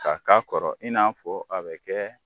K'a k'a kɔrɔ in n'a fɔ a bɛ kɛ